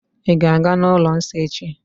Ị̀ ga-aga n'ụlọ nsọ echi?